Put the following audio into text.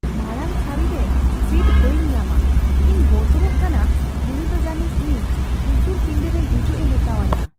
ᱢᱟᱲᱟᱝᱥᱟᱹᱨᱤ ᱨᱮ ᱥᱤᱴ ᱵᱟᱢ ᱧᱟᱢᱟ ᱾ ᱤᱧ ᱵᱚᱛᱚᱨᱚᱜ ᱠᱟᱱᱟ ᱩᱱᱤ ᱫᱚ ᱡᱟᱹᱱᱤᱡ ᱤᱧ ᱩᱥᱩᱞ ᱯᱤᱸᱫᱟᱹ ᱨᱮ ᱦᱤᱡᱩᱜᱼᱮ ᱢᱮᱛᱟᱣᱟᱹᱧᱟ ᱾